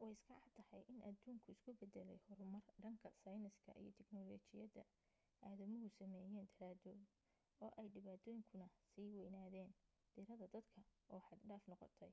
way iska caddahay in adduunku isu beddelay horumarka dhanka sayniska iyo tiknoolajiyadda aadamuhu sameeyeen daraadood oo ay dhibaatooyinkuna sii waynaadeen tirada dadka oo xad-dhaaf noqotay